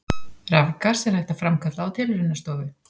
Rafgas er hægt að framkalla á tilraunastofu.